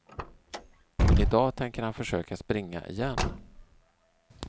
I dag tänker han försöka springa igen.